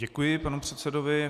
Děkuji panu předsedovi.